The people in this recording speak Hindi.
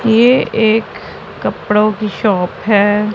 ये एक कपड़ों की शॉप है।